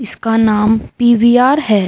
इसका नाम पि.वी.आर. है।